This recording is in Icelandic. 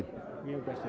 mjög bjartsýnn